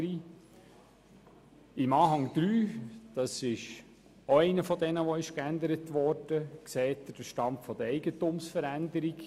Im Anhang 3, der ebenfalls geändert wurde, sehen Sie den Stand der Eigentumsveränderungen.